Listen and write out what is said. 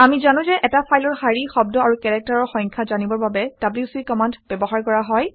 আমি জানো যে এটা ফাইলৰ শাৰী শব্দ আৰু কেৰেক্টাৰৰ সংখ্যা জানিবৰ বাবে ডব্লিউচি কমাণ্ড ব্যৱহাৰ কৰা হয়